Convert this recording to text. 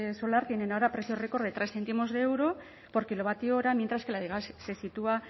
solar tienen ahora precios récord de tres céntimos de euro por kilovatio hora mientras que la de gas se sitúa